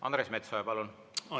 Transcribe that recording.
Andres Metsoja, palun!